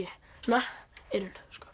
svona eyrun